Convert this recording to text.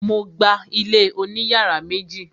Mo gba ilé oní yàrá méjì.